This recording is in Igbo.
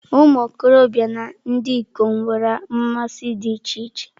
Ụmụ okorobịa na ndị ikom nwere mmasị dị iche iche.